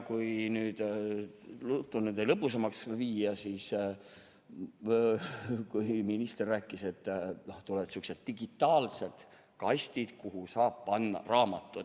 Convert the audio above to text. Kui nüüd juttu lõbusamaks viia, siis minister rääkis, et on sihukesed digitaalsed kastid, kuhu saab panna raamatu.